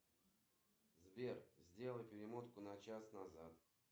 джой евангелие от иуды это часть чего